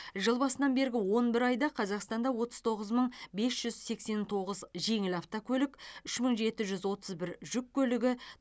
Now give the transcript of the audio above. жыл басынан бергі он бір айда қазақстанда отыз тоғыз мың бес жүз сексен тоғыз жеңіл автокөлік үш мың жеті жүз отыз бір жүк көлігі